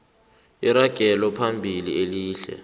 iragelo phambili elihle